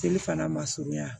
Teli fana ma surunya